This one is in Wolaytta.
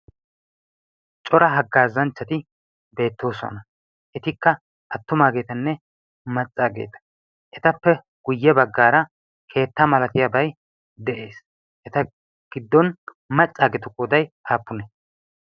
cora haggaazanchchati deettoosuwana etikka attumaageetanne maccaageeta etappe guyye baggaara keetta malatiyaabai de'ees. eta giddon maccaageetu qoday haappune